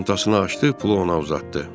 Tez çantasını açdı, pulu ona uzatdı.